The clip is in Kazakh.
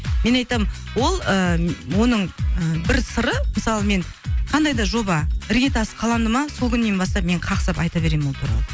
мен айтамын ол ыыы оның ы бір сыры мысалы мен қандай да жоба іргетасы қаланды ма сол күннен бастап мен қақсап мен айта беремін ол туралы